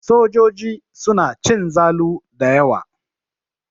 Sojoji suna cin zalu da yawa.